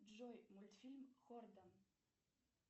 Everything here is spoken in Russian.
джой мультфильм хортон